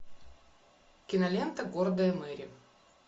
кинолента гордая мэри